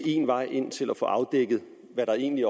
én vej ind til at få afdækket hvad der egentlig